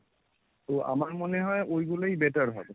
তো আমার মনে হয় ওই গুলোই better হবে।